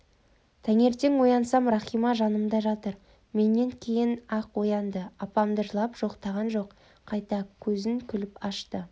таңертең оянсам рахима жанымда жатыр менен кейін-ақ оянды апамды жылап жоқтаған жоқ қайта көзін күліп ашты